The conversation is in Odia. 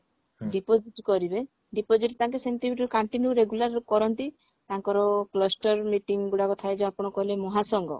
deposit କରିବେ deposit ତାଙ୍କେ ସେମତି ବି continue regular କରନ୍ତି ତାଙ୍କର cluster meeting ଗୁଡା ଥାଏ ଯେ ଆପଣ ଯଉ କହିଲେ ମହାସଂଘ